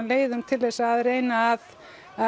leiðum til þess að reyna að